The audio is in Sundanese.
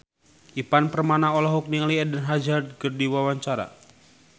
Ivan Permana olohok ningali Eden Hazard keur diwawancara